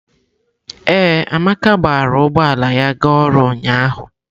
Ee, Amaka gbara ụgbọ ala ya ga ọrụ ụnyahụ.